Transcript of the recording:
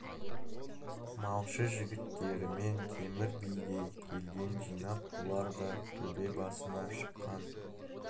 малшы жігіттерімен темір би де келген жинап бұлар да төбе басына шыққан